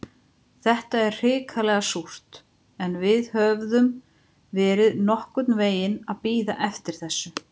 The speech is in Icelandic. Þetta er hrikalega súrt, en við höfðum verið nokkurn veginn að bíða eftir þessu.